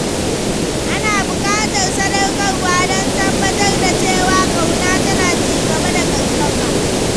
Ana buƙatar sadaukarwa don tabbatar da cewa ƙauna tana ci gaba da ƙarfafa.